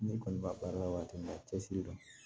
Ne kɔni b'a baara la waati min na a cɛsiri dɔn